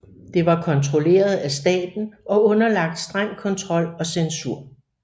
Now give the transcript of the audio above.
Det var kontrolleret af staten og underlagt streng kontrol og censur